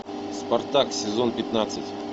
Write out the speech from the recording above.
спартак сезон пятнадцать